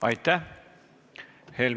Aitäh!